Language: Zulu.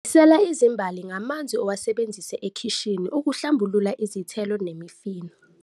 Nisela izimbali ngamanzi owasebenzise ekhishini ukuhlambulula izithelo nemifino.